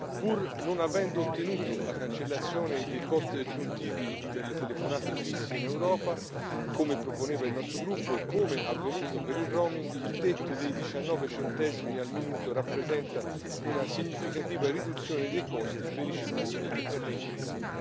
Pur non avendo ottenuto la cancellazione dei costi aggiuntivi per le telefonate fisse in Europa, come proponeva il nostro gruppo e come avvenuto per il roaming il tetto dei 19 centesimi al minuto rappresenta una significativa riduzione dei costi per i cittadini e per le imprese.